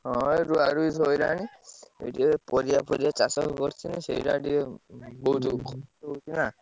ହଁ ଏଇ ରୁଆ ରୁଇ ସରିଲାଣି ପାରିବ ଫରିବା ଚାଷ କରିଥିଲି ସେଇଟା ଟିକେ ବୋହୁତ ।